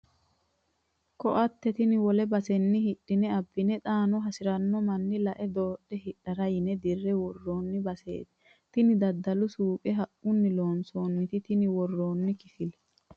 Koatte tene wole basenni hidhine abbine xaano hasirano manni lae doodhe hidhara yine dirre woroni baseti tini daddalu suuqe haqquni loonsonite tini woranni kifilla.